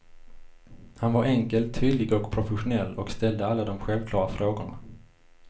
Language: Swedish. Han var enkel, tydlig och professionell och ställde alla de självklara frågorna.